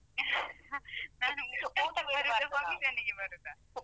ನಾನು ಊಟಕ್ಕಂತ ಬರುದಾ? function ಗೆ ಬರುದಾ?